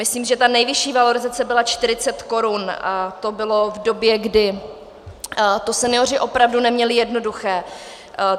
Myslím, že ta nejvyšší valorizace byla 40 korun, a to bylo v době, kdy to senioři opravdu neměli jednoduché.